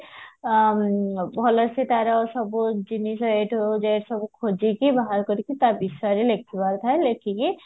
ଭଲସେ ତାର ସବୁ ଜିନିଷ ରହୁଥିବ ଯୋଉ ଗୁରା ସବୁ ଖୋଜିକି ବାହାର କରିକି ତା ବିଷୟରେ ଲେଖିବା କଥା ଲେଖିକି